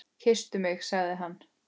Kysstu mig sagði hann.